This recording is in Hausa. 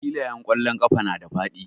Filayen ƙwallon ƙafa na da faɗi.